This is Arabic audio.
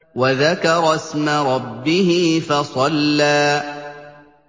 وَذَكَرَ اسْمَ رَبِّهِ فَصَلَّىٰ